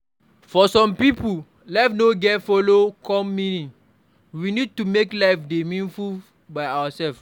For some pipo, life no get follow come meaning, we need to make life dey meaningful by ourself